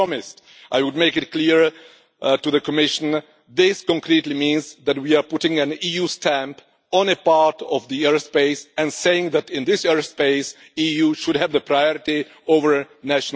I promised that I would make it clear to the Commission that this completely means that we are putting an EU stamp on a part of the airspace and saying that in this airspace the EU should have priority over national flights.